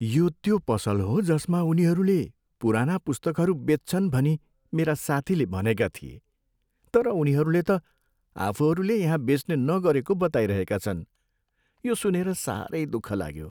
यो त्यो पसल हो जसमा उनीहरूले पुराना पुस्तकहरू बेच्छन् भनी मेरा साथीले भनेका थिए तर उनीहरूले त आफूहरूले यहाँ बेच्ने नगरेको बताइरहेका छन्। यो सुनेर साह्रै दुःख लाग्यो।